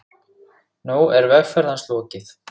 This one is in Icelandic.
Nú er vegferð hans lokið.